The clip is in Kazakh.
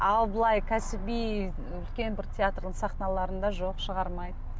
ал былай кәсіби үлкен бір таеатрдың сахналарында жоқ шығармайды